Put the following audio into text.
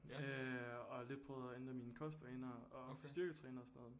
Øh og lidt prøvet at ændre mine kostvaner og få styrketrænet og sådan noget